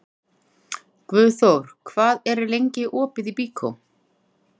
Guðþór, hvað er lengi opið í Byko?